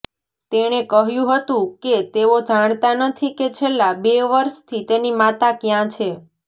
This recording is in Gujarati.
તેણે કહ્યું હતું કે તેઓ જાણતા નથી કે છેલ્લા બે વર્ષથી તેની માતા ક્યાં છે